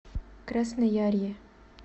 красноярье